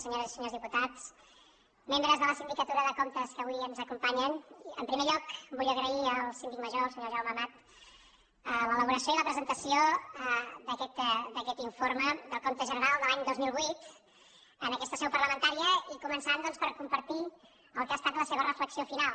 senyores i senyors diputats membres de la sindicatura de comptes que avui ens acompanyen en primer lloc vull agrair al síndic major el senyor jaume amat l’elaboració i la presentació d’aquest informe del compte general de l’any dos mil vuit en aquesta seu parlamentària i començant doncs per compartir el que ha estat la seva reflexió final